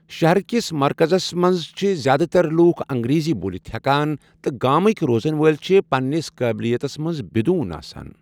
شہرکس مرکزس منٛز چھِ زیٛادٕ تر لوٗکھ انگریٖزۍ بولِتھ ہٮ۪کان تہ گامٕکۍ روزن وٲلۍ چھِ پنٛنس قٲبلیتس منٛز بدون آسان۔